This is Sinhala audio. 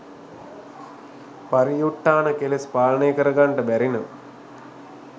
පරියුට්ඨාන කෙලෙස් පාලනය කර ගන්ට බැරි නම්